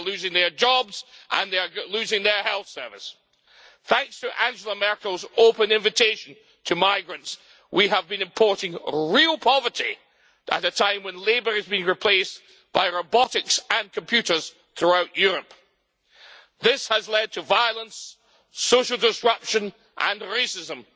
They are losing their jobs, and they are losing their health service. Thanks to Angela Merkel's open invitation to migrants, we have been importing real poverty at a time when labour is being replaced by robotics and computers throughout Europe. This has led to violence, social disruption and racism.